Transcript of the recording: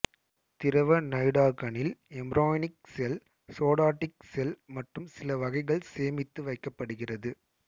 திரவ நைடாகணில் embryonic cell somatic cell மற்றும் சிலவகைகள் சேமித்து வைக்கப்படுகிறது